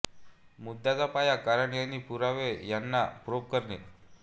मुद्द्याचा पाया कारणं आणि पुरावे ह्यांना प्रोब करणे